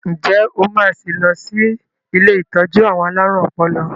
Ǹjẹ́ o máa sì lọ sí ilé ìtọ́jú àwọn alárùn ọpọlọ?